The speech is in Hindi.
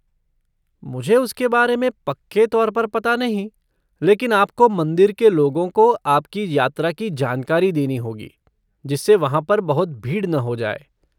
मुझे उसके बारे में पक्के तौर पर पता नहीं लेकिन आपको मंदिर के लोगों को आपकी यात्रा की जानकारी देनी होगी, जिससे वहाँ पर बहुत भीड़ न हो जाए।